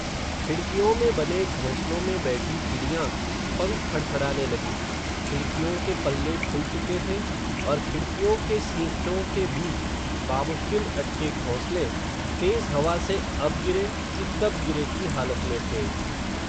खिडक़ियों में बने, घोंसलों में बैठी चिडियां, पंख फड फडाने लगी, खिडक़ियों के पल्ले खुल चुके थे, और खिडक़ियों के सींखचों के बीच, बामुश्किल अटके घोंसले, तेज़ हवा से अब गिरे, कि तब गिरे की हालत में थे